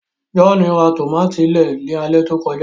John rà tomati lẹẹ ní alẹ tó kọjá